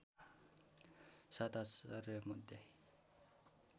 सात आश्चर्य मध्ये